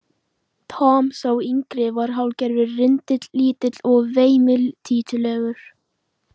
Tom, sá yngri, var hálfgerður rindill, lítill og veimiltítulegur.